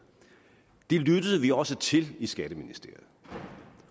det lyttede vi også til i skatteministeriet